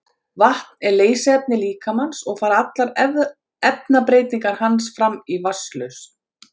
Vatn er leysiefni líkamans og fara allar efnabreytingar hans fram í vatnslausn.